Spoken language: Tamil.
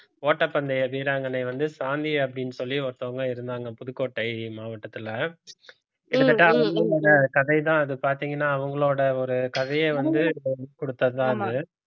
ஓட்டப்பந்தய வீராங்கனை வந்து சாந்தி அப்படின்னு சொல்லி ஒருத்தவங்க இருந்தாங்க புதுக்கோட்டை மாவட்டத்துல கிட்டத்தட்ட அவங்களோட கதைதான் அது பார்த்தீங்கன்னா அவங்களோட ஒரு கதைய வந்து கொடுத்ததுதான் அது